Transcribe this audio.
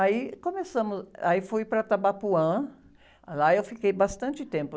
Aí começamos, aí fui para Tabapuã, lá eu fiquei bastante tempo.